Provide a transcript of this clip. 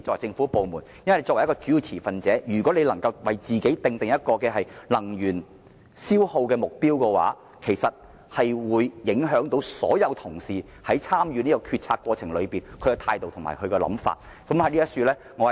政府作為主要持份者，如能以身作則訂定節能目標的話，將會影響所有同事在參與這項決策過程中的態度和想法。